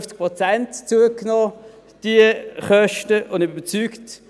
Um 50 Prozent haben die Kosten zugenommen, und ich bin überzeugt: